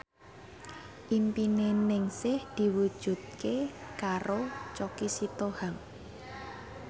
impine Ningsih diwujudke karo Choky Sitohang